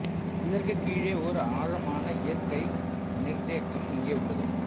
இதற்கு கீழே ஓர் ஆழமான இயற்கை நிர்த்தேக்கம் இங்கே உள்ளது